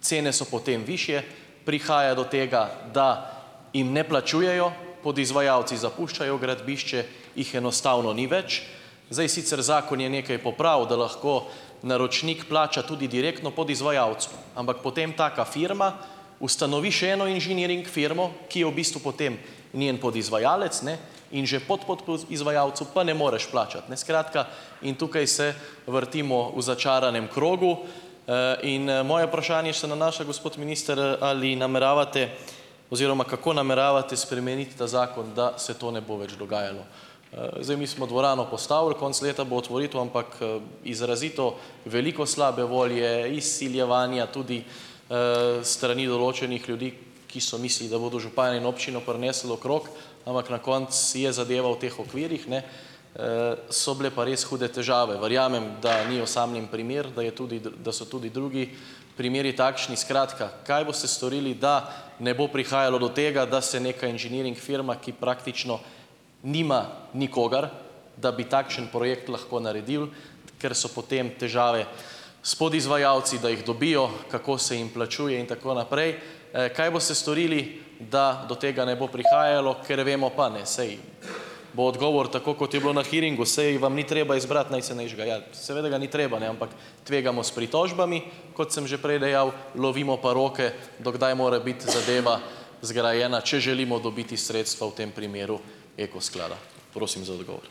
cene so potem višje, prihaja do tega, da jim ne plačujejo, podizvajalci zapuščajo gradbišče, jih enostavno ni več. Zdaj sicer, zakon je nekaj popravil, da lahko naročnik plača tudi direktno podizvajalcu, ampak potem taka firma ustanovi še eno inženiring firmo, ki je v bistvu potem njen podizvajalec, ne, in že podpodizvajalcu pa ne moreš plačati, ne, skratka, in tukaj se vrtimo v začaranem krogu in moje vprašanje se nanaša, gospod minister, ali nameravate oziroma, kako nameravate spremeniti ta zakon, da se to ne bo več dogajalo. Zdaj, mi smo dvorano postavili, konec leta bo otvoritev, ampak izrazito veliko slabe volje, izsiljevanja, tudi s strani določenih ljudi, ki so mislili, da bodo župana in občino prinesli okrog, ampak na koncu je zadeva v teh okvirih, ne, so bile pa res hude težave. Verjamem, da ni osamljen primer, da je tudi da so tudi drugi primeri takšni. Skratka, kaj boste storili, da ne bo prihajalo do tega, da se neka inženiring firma, ki praktično nima nikogar, da bi takšen projekt lahko naredil, ker so potem težave s podizvajalci, da jih dobijo, kako se jim plačuje in tako naprej, kaj boste storili, da do tega ne bo prihajalo, ker vemo pa ne, saj, bo odgovor tako, kot je bilo na hearingu, saj vam ni treba izbrati najcenejšega, ja, seveda ga ni treba ne, ampak, tvegamo s pritožbami, kot sem že prej dejal, lovimo pa roke, do kdaj more biti zadeva zgrajena, če želimo dobiti sredstva, v tem primeru Eko sklada. Prosim za odgovor.